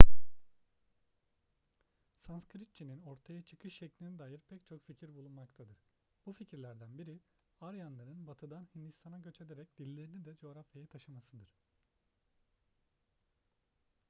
sanskritçe'nin ortaya çıkış şekline dair pek çok fikir bulunmaktadır bu fikirlerden biri aryanların batı'dan hindistan'a göç ederek dillerini de coğrafyaya taşımasıdır